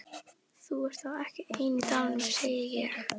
Þú ert þá ekki ein í dalnum, segi ég.